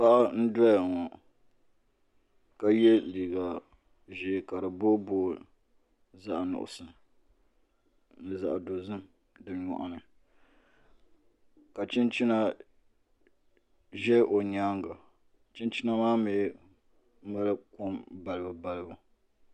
Paɣa n doya ŋo ka yɛ liiga ʒiɛ ka di booi booi zaɣ nuɣso ni zaɣ dozim di nyoɣani ka chinchina ʒɛ o nyaanga chinchina maa mii nyɛla kom balibu balibu